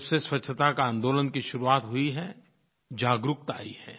जब से स्वच्छता के आन्दोलन की शुरुआत हुई है जागरूकता आई है